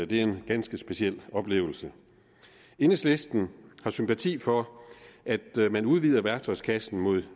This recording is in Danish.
det er en ganske speciel oplevelse enhedslisten har sympati for at man udvider værktøjskassen mod